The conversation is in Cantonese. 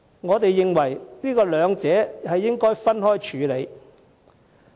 我們認為，兩者應分開處理。